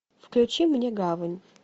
включи мне гавань